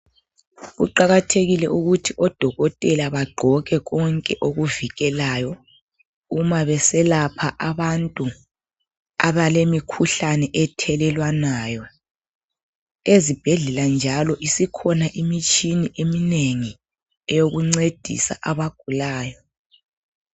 Kuqakathekile ukuthi odokotela bagqoke konke okuvikelayo, uma beselapha abantu, abalemikhuhlane ethelelwanayo. Ezibhedlela njalo, isikhona imitshina yokuncedisa abagulayo.